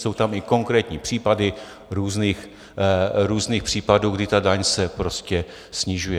Jsou tam i konkrétní případy různých případů, kdy ta daň se prostě snižuje.